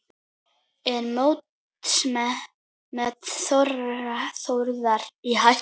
Er mótsmet Þórðar í hættu?